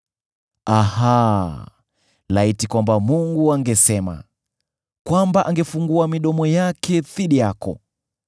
Aha! Laiti kwamba Mungu angesema, kwamba angefungua midomo yake dhidi yako,